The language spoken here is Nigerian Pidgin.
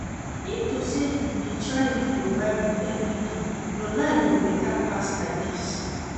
If to say you dey try read your bible everyday your life go better pass like dis